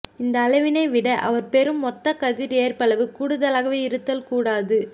இந்த அளவினைவிட அவர் பெறும் மொத்த கதிர் ஏற்பளவு கூடுதலாக இருத்தல் கூடாது